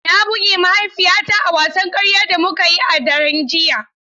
Na buge mahaifiyata a wasan karya da muka yi a daren jiya.